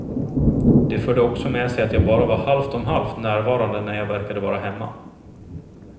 Det förde också med sig att jag bara var halvt om halvt närvarande när jag verkade vara hemma.